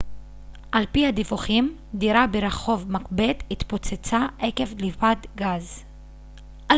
על פי הדיווחים דירה ברחוב מקבת התפוצצה עקב דליפת גז